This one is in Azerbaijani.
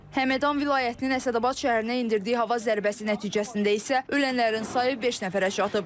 Həmədan vilayətinin Əsədabad şəhərinə endirdiyi hava zərbəsi nəticəsində isə ölənlərin sayı beş nəfərə çatıb.